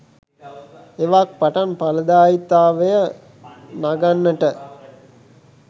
එවක් පටන් ඵලදායීතාවය නගන්නට